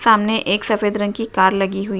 सामने एक सफेद रंग की कार लगी हुई --